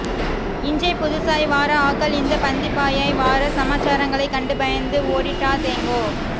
இஞ்சை புதுசாய் வாற ஆக்கள் இந்த பந்திபந்தியாய் வாற சமாச்சாரங்களை கண்டு பயந்து ஓடீடாதேங்கோ